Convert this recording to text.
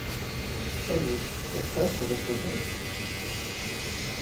салют поставь рокабай